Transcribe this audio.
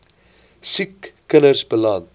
siek kinders beland